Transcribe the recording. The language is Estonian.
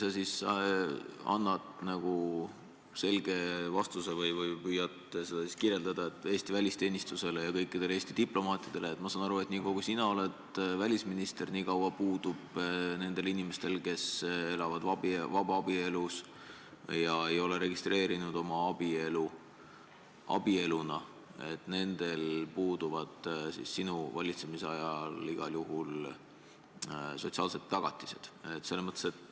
Äkki sa annad selge vastuse või oskad seda kirjeldada, et Eesti välisteenistuses puuduvad kõikidel Eesti diplomaatidel – ma saan aru, et nii kaua, kui sina oled välisminister –, kes elavad vabaabielus ega ole registreerinud oma abielu, sinu valitsemisajal igal juhul sotsiaalsed tagatised.